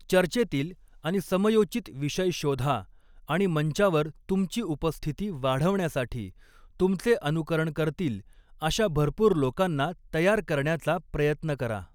चर्चेतील आणि समयोचित विषय शोधा आणि मंचावर तुमची उपस्थिती वाढवण्यासाठी तुमचे अनुकरण करतील अशा भरपूर लोकांना तयार करण्याचा प्रयत्न करा.